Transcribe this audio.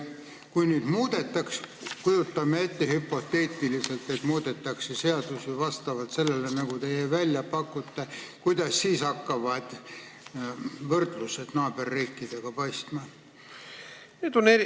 Kui meil neid nüüd muudetaks – kujutame hüpoteetiliselt ette, et seadusi muudetakse nii, nagu teie välja pakute –, siis kuidas need hakkavad võrdluses naaberriikide seadustega paistma?